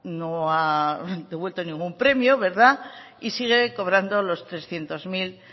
devuelto ningún premio y sigue cobrando los trescientos mil